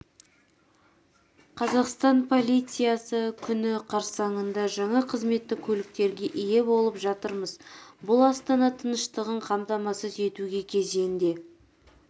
қазақстан полициясы күні қарсаңында жаңа қызметтік көліктерге ие болып жатырмыз бұл астана тыныштығын қамтамасыз етуге кезінде